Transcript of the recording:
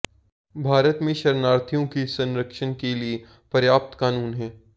भारत में शरणार्थियों के संरक्षण के लिए पर्याप्त कानून हैं